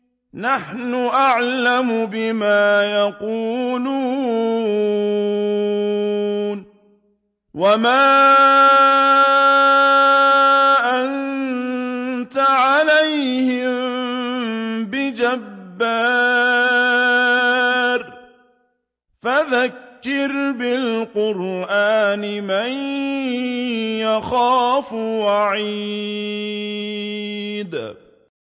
نَّحْنُ أَعْلَمُ بِمَا يَقُولُونَ ۖ وَمَا أَنتَ عَلَيْهِم بِجَبَّارٍ ۖ فَذَكِّرْ بِالْقُرْآنِ مَن يَخَافُ وَعِيدِ